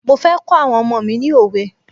Mo fẹ́ kọ́ àwọn ọmọ mi ni òwe.